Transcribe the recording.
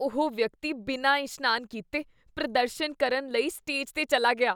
ਉਹ ਵਿਅਕਤੀ ਬਿਨਾਂ ਇਸ਼ਨਾਨ ਕੀਤੇ ਪ੍ਰਦਰਸ਼ਨ ਕਰਨ ਲਈ ਸਟੇਜ 'ਤੇ ਚੱਲਾ ਗਿਆ।